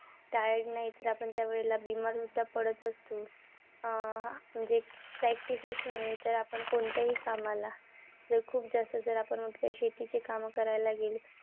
Tired नाही. तर आपण त्या वेळेला आपण सुद्धा पडत असतो. अं म्हणजे practice च नव्हे तर आपण कोणत्याही कामाला जर खूप जास्त जर आपण आपल्या शेतीची काम करायला गेलो.